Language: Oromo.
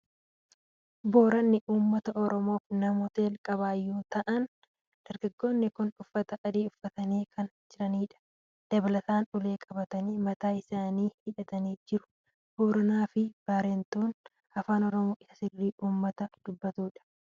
Booranni uummata Oromoof namoota jalqabaa yeroo ta'an, Dargaggoonni kun uffata adii uffatanii kan jiranidha. Dabalataan ulee qabatanii, mataa isaanii hidhatanii jiru. Booranaa fi Baarentuun afaan Oromoo isa sirrii uummata dubbatanidha.